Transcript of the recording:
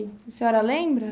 A senhora lembra?